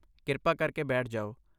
ਕਿਰਪਾ ਕਰਕੇ ਬੈਠ ਜਾਓ।